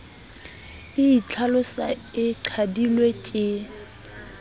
e itlhalosa e qadilwe ke